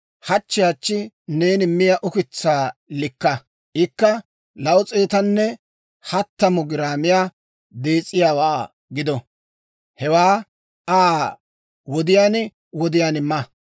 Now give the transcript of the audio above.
Hachchi hachchi neeni miyaa ukitsaa likka; ikka 230 giraamiyaa dees'iyaawaa gido; hewaa Aa wodiyaan wodiyaan ma.